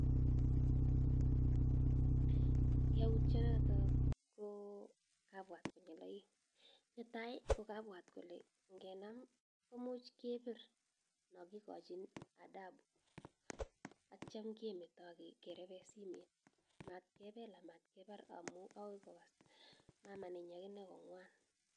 Yautchenota ko kabwat konyil aeng, netai kokabwat kole ngenam komuch kebir no kikochnn adabu atyam kemeto akerepe simet matkebel amat kepar amu ako kas mama nenyin kong'wan.